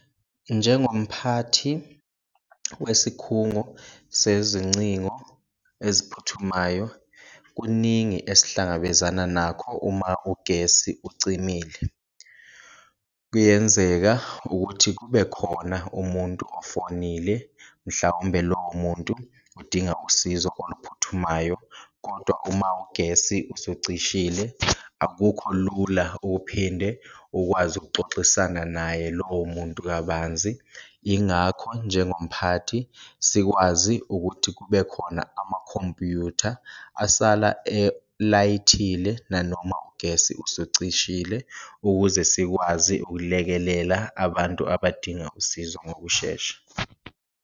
Njengomphathi wesikhungo sezincingo eziphuthumayo kuningi esihlangabezana nakho uma ugesi ucimile, kuyenzeka ukuthi kube khona umuntu ofonile mhlawumbe lowo muntu udinga usizo oluphuthumayo, kodwa uma ugesi usucishile akukho lula ukuphinde ukwazi ukuxoxisana naye lowo muntu kabanzi. Ingakho njengomphathi sikwazi ukuthi kube khona amakhompuyutha asala elayithile nanoma ugesi usucishile, ukuze sikwazi ukulekelela abantu abadinga usizo ngokushesha.